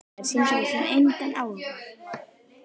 Þær sýndu þessu engan áhuga.